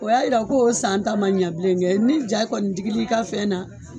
O y'a jira k'o san ta ma ɲɛ bilen kɛ ni ja kɔni digila i ka fɛn na